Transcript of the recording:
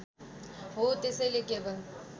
हो त्यसैले केवल